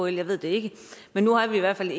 jeg ved det ikke men nu har vi i hvert fald